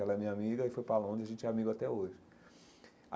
Ela é minha amiga e foi para Londres, a gente é amigo até hoje